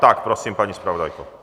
Tak prosím, paní zpravodajko.